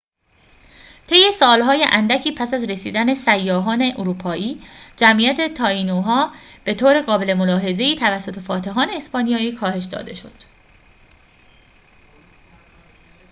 طی سال‌های اندکی پس از رسیدن سیاحان اروپایی جمعیت تائینوها به طور قابل ملاحظه‌ای توسط فاتحان اسپانیایی کاهش داده شد